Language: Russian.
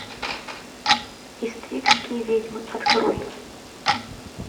иствикские ведьмы открой